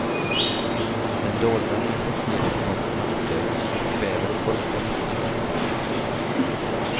Den dolda, men effektiva ekonomiska maktutövningen kväver det folkliga politiska engagemanget.